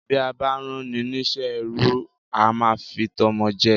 Bí a bá rán ni ní iṣẹ́ ẹrú, a máá ń fi tọmọ jẹ́ ẹ